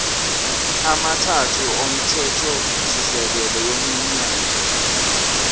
amathathu omthethosisekelo wenyunyane